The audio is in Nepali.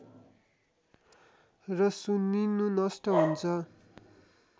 र सुनिंनु नष्ट हुन्छ